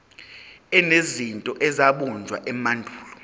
enezinto ezabunjwa emandulo